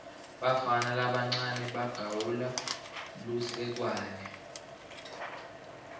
bafana labancawe bagawula lusekwane